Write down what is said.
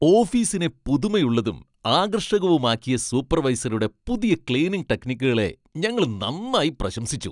ഓഫീസിനെ പുതുമയുള്ളതും ആകർഷകവുമാക്കിയ സൂപ്പർവൈസറുടെ പുതിയ ക്ലീനിംഗ് ടെക്നിക്കുകളെ ഞങ്ങള് നന്നായി പ്രശംസിച്ചു.